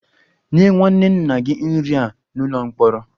Nye nwanne nna gị nri a n'ụlọ mkpọrọ!